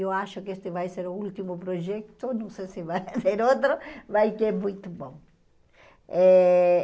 Eu acho que este vai ser o último projeto, não sei se vai ser outro, mas que é muito bom. Eh